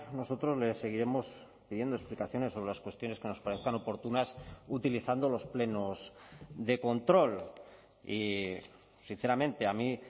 nosotros le seguiremos pidiendo explicaciones sobre las cuestiones que nos parezcan oportunas utilizando los plenos de control y sinceramente a mí